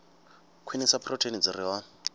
khwinisa phurotheini dzi re hone